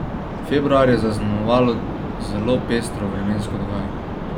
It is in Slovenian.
Februar je zaznamovalo zelo pestro vremensko dogajanje.